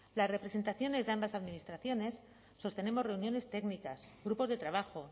las representaciones de ambas administraciones sostenemos reuniones técnicas grupos de trabajo